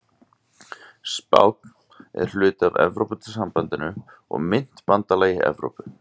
Spánn er hluti af Evrópusambandinu og myntbandalagi Evrópu.